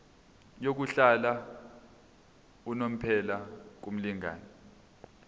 yokuhlala unomphela kumlingani